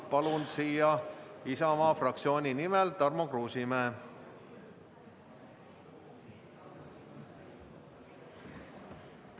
Palun kõnetooli Isamaa fraktsiooni nimel sõna võtma Tarmo Kruusimäe!